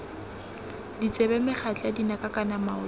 ditsebe megatla dinaka kana maoto